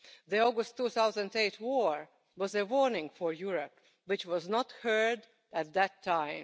The August 2008 war was a warning for Europe which was not heard at the time.